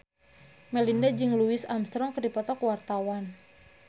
Melinda jeung Louis Armstrong keur dipoto ku wartawan